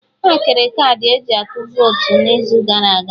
Ha kere kaadị eji atụ votu n'izu gara aga